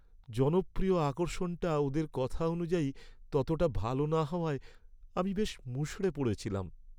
জনপ্রিয় আকর্ষণটা ওদের কথা অনুযায়ী ততটা ভালো না হওয়ায় আমি বেশ মুষড়ে পড়েছিলাম।